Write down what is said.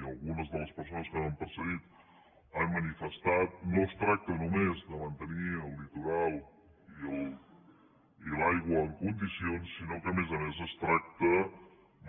i alguna de les persones que m’han precedit han manifestat no es tracta només de mantenir el litoral i l’aigua en condicions sinó que a més a més es tracta